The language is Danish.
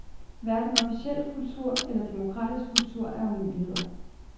Hverken officiel kultur eller demokratisk kultur er umuligheder.